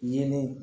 Yeelen